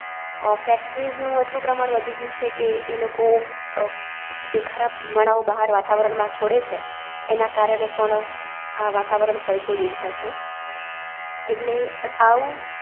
અ factories નું એટલું પ્રમાણ વધી ગયું છે કે, એ લોકો અ જે ખરાબ ધુમાડાઓ બહાર વાતાવરણ માં છોડે છે એના કારણે પણ આ વાતાવરણ પલટો દેખાઈ છે. એટલે આઉ